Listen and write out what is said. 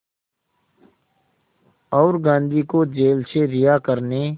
और गांधी को जेल से रिहा करने